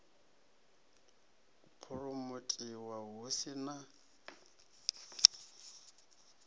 u phuromothiwa hu si na